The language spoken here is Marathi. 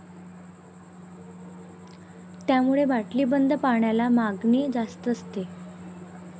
त्यामुळे बाटलीबंद पाण्याला मागणी जास्त असते.